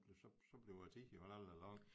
Så så bliver æ tid vel aldrig lang